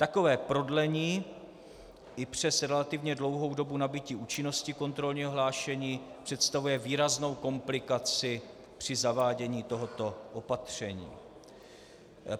Takové prodlení i přes relativně dlouhou dobu nabytí účinnosti kontrolního hlášení představuje výraznou komplikaci při zavádění tohoto opatření.